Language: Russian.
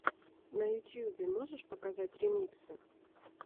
на ютюбе можешь показать ремиксы